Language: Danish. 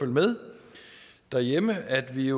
med derhjemme at vi